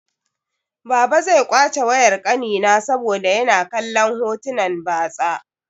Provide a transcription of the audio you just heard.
Baba zai kwace wayar ƙanina saboda yana kallon hotunan batsa.